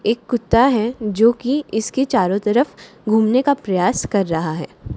एक कुत्ता है जो कि इसके चारों तरफ घूमने का प्रयास कर रहा है।